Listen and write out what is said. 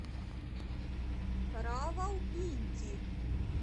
равалпинди